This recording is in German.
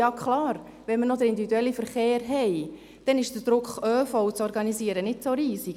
Ja, klar, wenn wir noch den individuellen Verkehr haben, dann ist der Druck, ÖV zu organisieren nicht so riesig.